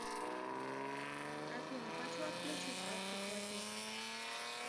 афина хочу отключить автоплотеж